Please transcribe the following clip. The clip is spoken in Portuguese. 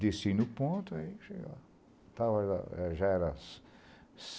Desci no ponto, aí cheguei lá estava lá, já era